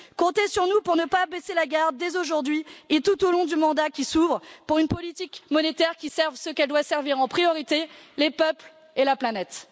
Comptez sur nous pour ne pas baisser la garde dès aujourd'hui et tout au long du mandat qui s'ouvre pour une politique monétaire qui serve ce qu'elle doit servir en priorité les peuples et la planète.